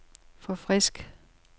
forfrisk